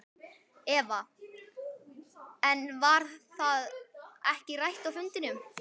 Eva: En var það ekki rætt á fundinum?